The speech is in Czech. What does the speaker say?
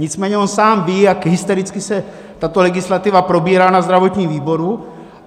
Nicméně on sám ví, jak hystericky se tato legislativa probírá na zdravotním výboru.